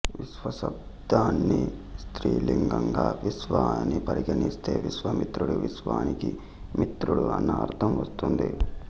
విశ్వ శబ్దాన్ని స్త్రీలింగంగా విశ్వా అని పరిగణిస్తే విశ్వా మిత్రుడు విశ్వానికి మిత్రుడు అన్న అర్థం వస్తుంది